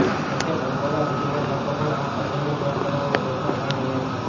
જોકે ભલભલા બુદ્ધિમાન લોકો પણ આ પઝલને સોલ્વ કરવામાં ગોથા ખાઈ રહ્યા છે